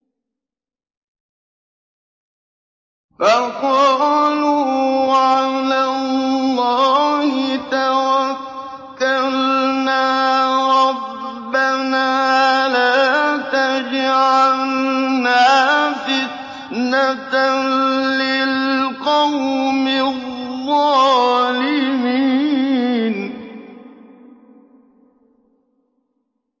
فَقَالُوا عَلَى اللَّهِ تَوَكَّلْنَا رَبَّنَا لَا تَجْعَلْنَا فِتْنَةً لِّلْقَوْمِ الظَّالِمِينَ